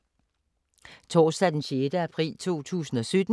Torsdag d. 6. april 2017